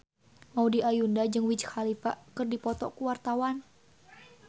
Maudy Ayunda jeung Wiz Khalifa keur dipoto ku wartawan